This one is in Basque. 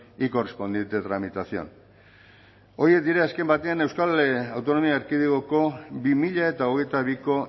y correspondiente tramitación horiek dira azken batean euskal autonomia erkidegoko bi mila hogeita biko